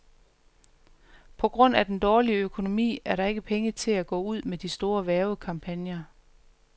På grund af den dårlige økonomi er der ikke penge til at gå ud med de store hvervekampagner.